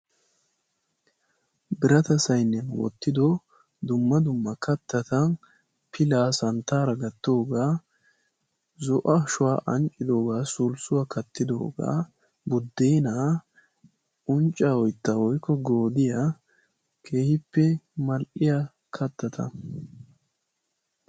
Birata sayiniyan wottido dumma dumma kattata pilaa santtaara gattoogaa, zo'o ashuwa anccidoogaa, sulssuwa kattidoogaa, buddeenaa, unccaa, oyttaa, woykko goodiya, keehippe mal''iya kattata.